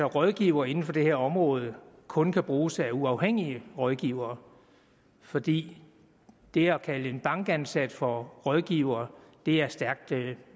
rådgiver inden for det her område kun kan bruges af uafhængige rådgivere fordi det at kalde en bankansat for rådgiver er stærkt